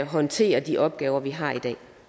håndtere de opgaver de har i